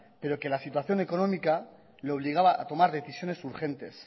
pero que la situación económica le obligaba a tomar decisiones urgentes